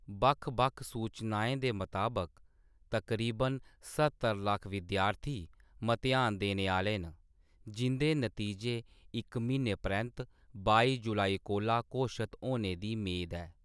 बक्ख-बक्ख सूचनाएं दे मताबक, तकरीबन स्हत्तर लक्ख विद्यार्थी मतेहान देने आह्‌‌‌ले न, जिंʼदे नतीजे इक म्हीने परैंत्त बाई जुलाई कोला घोशत होने दी मेद ऐ।